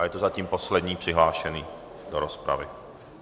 A je to zatím poslední přihlášený do rozpravy.